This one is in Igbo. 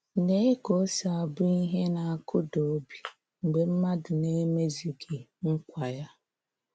Léé ka ọ̀ sí abụ́ ihe na-akụ́dà óbì mgbe mmádụ̀ na-emezughị nkwa ya!